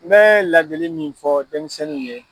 Mɛ ladili min fɔ denmisɛnniw ye.